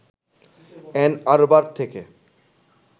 an Arbor থেকে